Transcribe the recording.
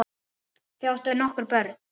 Þau áttu nokkur börn.